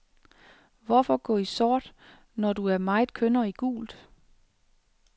Hvorfor gå i sort når du er så meget kønnere i gult?